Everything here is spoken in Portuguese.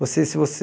Você, se você